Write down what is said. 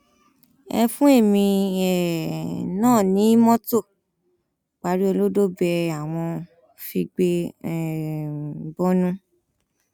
ẹ fún èmi um náà ní mọtò paríolọdọ bẹẹ àwọn figbe um bọnu